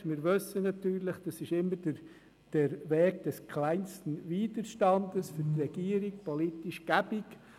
Wir wissen natürlich, dass das immer der Weg des kleinsten Widerstandes ist und dass das für die Regierung politisch bequem ist.